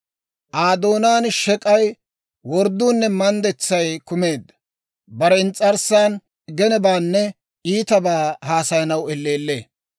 Aa doonaan shek'ay, wordduunne manddetsay kumeedda. Bare ins's'arssan genebaanne iitabaa haasayanaw elleellee.